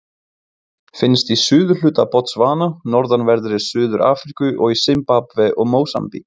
Finnst í suðurhluta Botsvana, norðanverðri Suður-Afríku og í Simbabve og Mósambík.